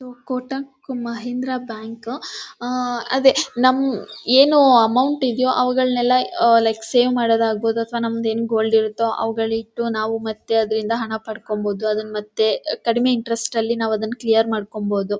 Kotak Mahindra bank ಅದೇ ನಮ್ ಏನು ಅಮೌಂಟ್ ಇದೆಯೋ ಅವುಗಳನ್ನೆಲ್ಲ ಲೈಕ್ ಸೇವ್ ಮಾಡೋದು ಆಗಿರಬಹುದು ಅಥವಾ ನಮ್ಮದೇನು ಅವುಗಳಿಟ್ಟು ನಾವು ಮತ್ತೆ ಅದರಿಂದ ಹಣ ಪಡೆದುಕೊಳ್ಳಬಹುದು ಅದು ನಮ್ಮತ್ತೆ ಕಡಿಮೆ ಇಂಟರೆಸ್ಟ್ ಅಲ್ಲಿ ನಾವು ಅದನ್ನು ಕ್ಲಿಯರ್ ಮಾಡಿಕೊಳ್ಳಬಹುದು.